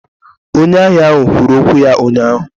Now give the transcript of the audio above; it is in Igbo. Onye ahịa ahụ kwuru okwu ya ụnyahụ